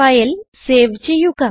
file save ചെയ്യുക